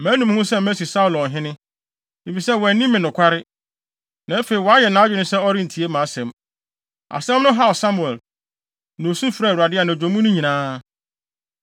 “Manu me ho sɛ masi Saulo ɔhene, efisɛ wanni me nokware, na afei wayɛ nʼadwene sɛ ɔrentie mʼasɛm.” Asɛm no haw Samuel, na osu frɛɛ Awurade anadwo mu no nyinaa.